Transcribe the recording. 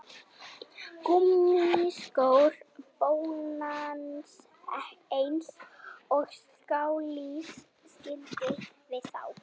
Gúmmískór bóndans eins og skáldið skildi við þá